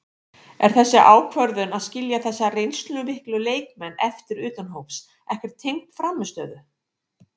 Er þessi ákvörðun að skilja þessa reynslumiklu leikmenn eftir utan hóps ekkert tengd frammistöðu?